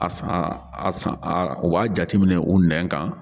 A san a san a u b'a jate minɛ u nɛ kan.